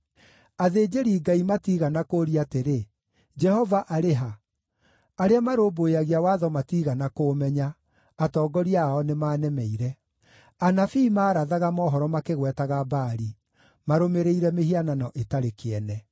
Athĩnjĩri-Ngai matiigana kũũria atĩrĩ: ‘Jehova arĩ ha?’ Arĩa marũmbũyagia watho matiigana kũũmenya; atongoria ao nĩmanemeire. Anabii maarathaga mohoro makĩgwetaga Baali, marũmĩrĩire mĩhianano ĩtarĩ kĩene.